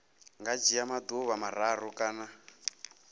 nga dzhia maḓuvha mararu kana